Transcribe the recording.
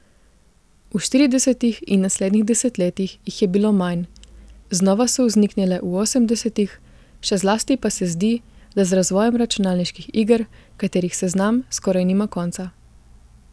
V štiridesetih in naslednjih desetletjih jih je bilo manj, znova so vzniknile v osemdesetih, še zlasti pa se zdi, da z razvojem računalniških iger, katerih seznam skoraj nima konca.